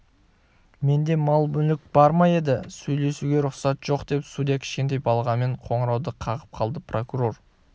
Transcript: менде мал-мүлік бар ма еді сөйлесуге рұқсат жоқ деп судья кішкентай балғамен қоңырауды қағып қалды прокурор